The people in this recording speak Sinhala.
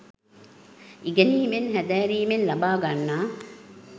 ඉගෙනීමෙන්, හැදෑරීමෙන් ලබා ගන්නා